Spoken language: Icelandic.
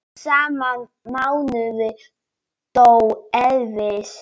Sama mánuð dó Elvis.